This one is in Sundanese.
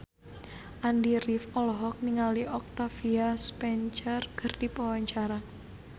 Andy rif olohok ningali Octavia Spencer keur diwawancara